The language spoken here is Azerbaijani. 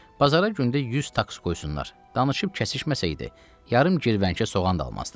Bazara gündə 100 taks qoysunlar, danışıb kəsişməsəydi, yarım girvənkə soğan da almazdı.